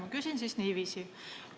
Ma küsin siis niiviisi.